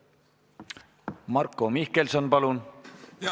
Marko Mihkelson, palun!